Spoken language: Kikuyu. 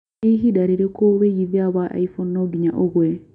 nĩ ĩhinda rĩrĩkũ wĩigĩthĩa wa iphone no nginya ũgũe